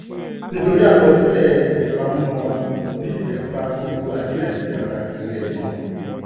nítorí àkọsílẹ̀ ìpamọ́ wàá nífẹẹ́ pa gbogbo àdírẹ́sì pàtàkì rẹ mọ́.